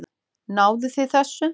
Náðuð þið þessu?